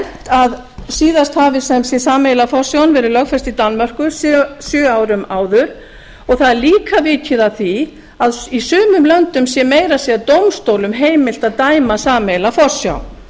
að síðast hafi sem sé sameiginlega forsjáin verið lögfest í danmörku sjö árum áður og það er líka vikið að því að í sumum löndum sé meira að segja dómstólum heimilt að dæma sameiginlega forsjá